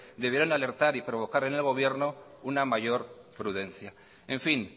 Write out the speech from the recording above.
debieron alertar y provocar en el gobierno una mayor prudencia en fin